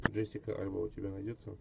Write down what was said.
джессика альба у тебя найдется